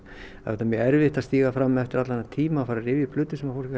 það er mjög erfitt að stíga fram eftir þennan tíma að rifja upp hluti sem fólk